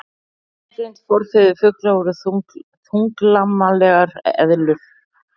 Beinagrind Forfeður fugla voru þunglamalegar eðlur.